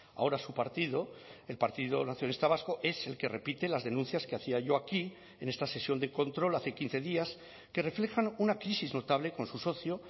ahora su partido el partido nacionalista vasco es el que repite las denuncias que hacía yo aquí en esta sesión de control hace quince días que reflejan una crisis notable con su socio